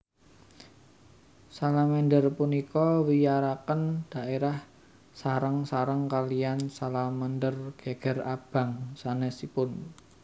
Salamander punika wiyaraken dhaérah sareng sareng kaliyan salamander geger abang sanesipun